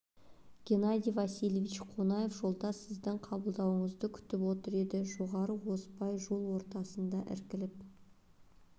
геннадий васильевич қонаев жолдас сіздің қабылдауыңызды күтіп отыр деді жоғары озбай жол ортадан іркіліп